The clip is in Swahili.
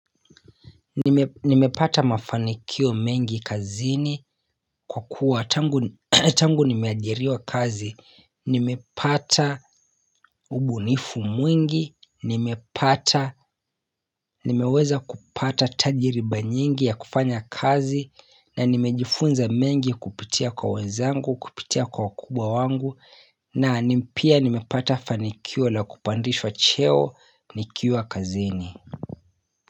Nimepata mafanikio mengi kazini kwa kuwa tangu nimeajiriwa kazi, nimepata ubunifu mwingi, nimepata nimeweza kupata tajiriba nyingi ya kufanya kazi na nimejifunza mengi kupitia kwa wenzangu, kupitia kwa wakubwa wangu na pia nimepata fanikio la kupandishwa cheo nikiwa kazini.